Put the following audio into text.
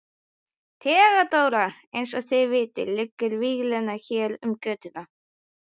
THEODÓRA: Eins og þið vitið liggur víglína hér um götuna.